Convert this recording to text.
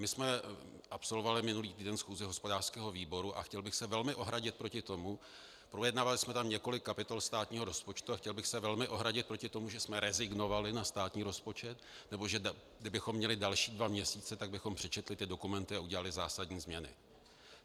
My jsme absolvovali minulý týden schůzi hospodářského výboru a chtěl bych se velmi ohradit proti tomu - projednávali jsme tam několik kapitol státního rozpočtu - a chtěl bych se velmi ohradit proti tomu, že jsme rezignovali na státní rozpočet, nebo že kdybychom měli další dva měsíce, tak bychom přečetli ty dokumenty a udělali zásadní změny.